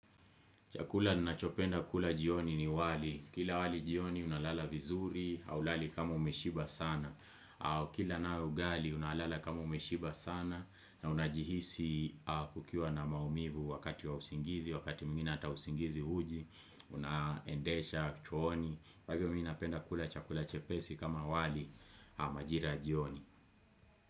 Chakula nachopenda kula jioni ni wali. Kila wali jioni unalala vizuri, haulali kama umeshiba sana. Kila na ugali unalala kama umeshiba sana na unajihisi kukiwa na maumivu wakati wausingizi, wakati mwngine hata usingizi huji, unaendesha, chooni. Kwa hivyo napenda kula chakula chepesi kama wali majira ya jioni.